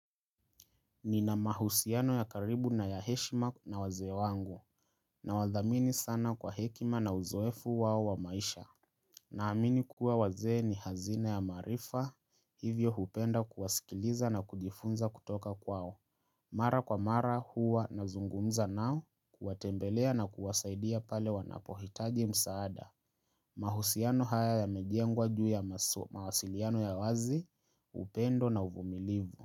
Nina mahusiano ya karibu na ya heshima na wazee wangu, nawathamini sana kwa hekima na uzoefu wao wa maisha. Naamini kuwa wazee ni hazina ya maarifa hivyo hupenda kuwasikiliza na kujifunza kutoka kwao. Mara kwa mara huwa nazungumza nao huwatembelea na kuwasaidia pale wanapohitaji msaada. Mahusiano haya yamejengwa juu ya mawasiliano ya wazi, upendo na uvumilivu.